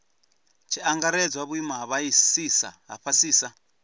tshi angaredzwa vhuimo ha fhasisa